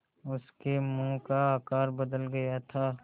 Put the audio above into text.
उसके मुँह का आकार बदल गया था